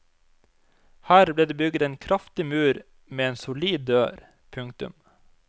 Her ble det bygget en kraftig mur med en solid dør. punktum